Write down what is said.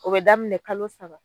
O bɛ daminɛ kalo saba.